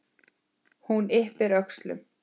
Hún ypptir öxlum.